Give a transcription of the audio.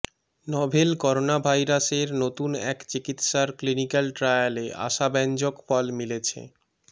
novel করোনাভাইরাসের নতুন এক চিকিৎসার ক্লিনিক্যাল ট্রায়ালে আশাব্যাঞ্জক ফল মিলেছে